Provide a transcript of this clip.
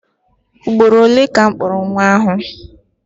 Ugboro ole ka m kpọrọ nwa ahụ?